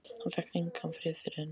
Hann fékk engan frið fyrir henni.